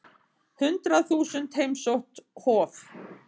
Hundrað þúsund heimsótt Hof